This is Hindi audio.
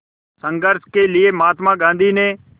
संघर्ष के लिए महात्मा गांधी ने